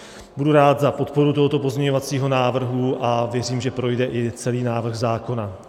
Budu rád za podporu tohoto pozměňovacího návrhu a věřím, že projde i celý návrh zákona.